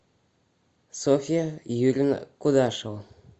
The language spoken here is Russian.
софья юрьевна кудашева